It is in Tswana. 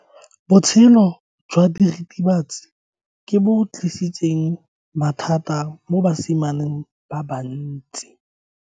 Botshelo jwa diritibatsi ke bo tlisitse mathata mo basimaneng ba bantsi.